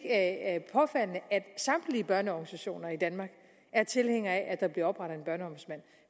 at samtlige børneorganisationer i danmark er tilhængere af at der bliver oprettet